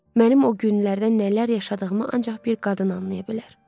Mənim o günlərdən nələr yaşadığımı ancaq bir qadın anlaya bilər.